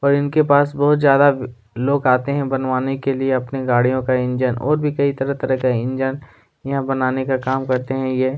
पर इनके पास बहुत ज्यादा लोग आते है बनवाने के लिए आते है अपनी गाड़ियों का इंजन और भी कई तरह तरह का इंजन यहाँ बनाने का काम करता है ये--